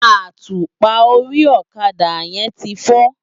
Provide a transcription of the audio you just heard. Átúpá óri òkadá yèn ti fò